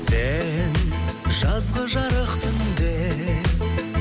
сен жазғы жарық түнде